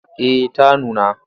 Eh ta nuna.